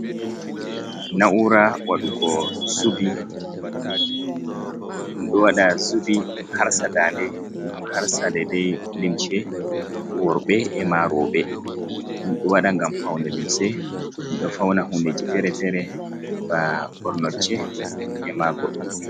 Na’ura waɗugo zubi, ɗum ɗo waɗa zubi ɗum harsa dande ɗum harsa dai dai limce worɓe e ma roɓɓe, ɗum ɗo waɗa ngam poune limche, ɗum ɗo fauna huneji fere-fere ba bornocche ema goɗɗi.